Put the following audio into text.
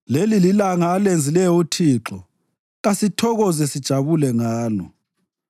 Leli lilanga alenzileyo uThixo; kasithokoze sijabule ngalo.